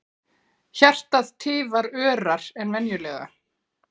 Hjartað tifar örar en venjulega.